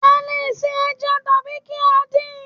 A le è se ẹja tàbí kí á din